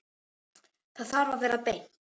Það þarf að vera beint.